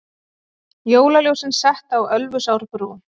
Jólaljósin sett á Ölfusárbrú